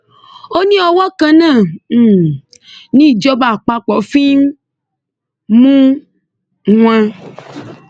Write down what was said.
ó ní ọwọ kan náà um ni ìjọba àpapọ fi ń um mú wọn